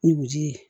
Nuguji ye